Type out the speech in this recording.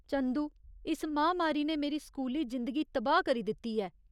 चंदू, इस म्हामारी ने मेरी स्कूली जिंदगी तबाह् करी दित्ती ऐ।